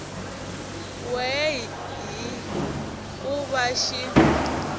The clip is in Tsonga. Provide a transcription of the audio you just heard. we hi ku va xi